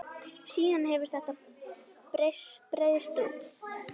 Síðan hefur þetta breiðst út.